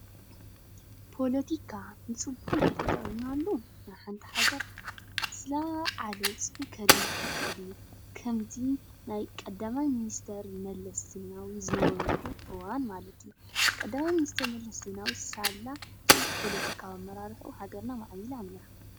ፖለቲካ ንፅቡቅ እንተጠቂምናሉ ንሓንቲ ሃገር ዝለዓለ ውፅኢት ከልማዓ ይኸእል እዩ፡፡ ከምዚ ናይ ቀዳማይ መኒስትር መለስ ዘይናዊ ዝነበረሉ እዋን ማለት እዩ፡፡ ቀዳማይ ሚኒስትር መለስ ዘይናዊ ሳላ ፅቡቕ ፖለቲካዊ ኣመራርሕኡ ሃገርና ማዕቢላ እያ፡፡